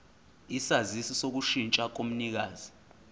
isaziso sokushintsha komnikazi